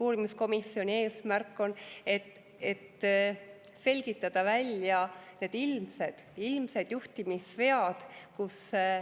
Uurimiskomisjoni eesmärk on selgitada välja need ilmsed juhtimisvead.